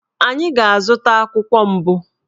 Anyị ga-azụta akwụkwọ mbụ